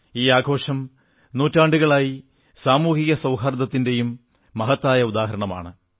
ഈ ആഘോഷം നൂറ്റാണ്ടുകളായി സാമൂഹിക സൌഹാർദ്ദത്തിന്റെയും മഹത്തായ ഉദാഹരണമാണ്